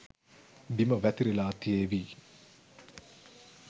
බිම වැතිරිලා තියේවි